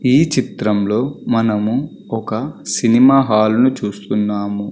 ఈ చిత్రంలో మనము ఒక సినిమా హాలు ను చూస్తున్నాము.